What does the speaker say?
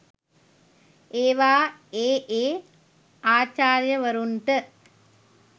ඒවා ඒ ඒ ආචාර්යවරුන්ට